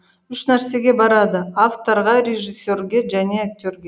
үш нәрсеге барады авторға режиссерге және актерге